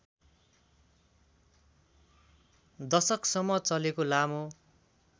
दशकसम्म चलेको लामो